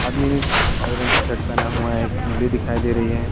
आदमी ने काले रंग की शर्ट पहना हुआ है एक उंगली दिखाई दे रही है।